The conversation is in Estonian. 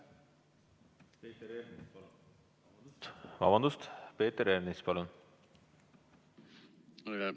Peeter Ernits, palun!